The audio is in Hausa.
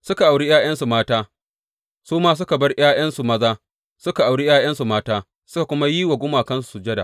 Suka auri ’ya’yansu mata, su ma suka bar ’ya’yansu maza suka auri ’ya’yansu mata, suka kuma yi wa gumakansu sujada.